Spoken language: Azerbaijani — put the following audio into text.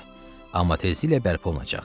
Amma tezliklə bərpa olunacaq.